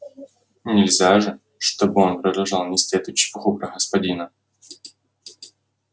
нельзя же чтобы он продолжал нести эту чепуху про господина